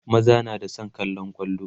maza na da San kallan kwallo